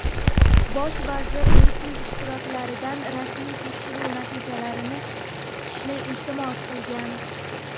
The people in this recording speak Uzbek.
Bosh vazir miting ishtirokchilaridan rasmiy tekshiruv natijalarini kutishni iltimos qilgan.